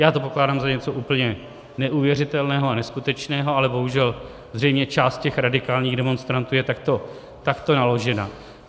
Já to pokládám za něco úplně neuvěřitelného a neskutečného, ale bohužel zřejmě část těch radikálních demonstrantů je takto naložena.